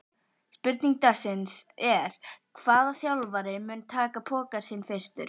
Spurning dagsins er: Hvaða þjálfari mun taka pokann sinn fyrstur?